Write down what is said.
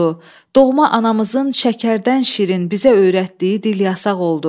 Doğma anamızın şəkərdən şirin bizə öyrətdiyi dil yasaq oldu.